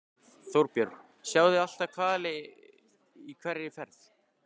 Þorbjörn: Sjáið þið alltaf hvali í hverri ferð?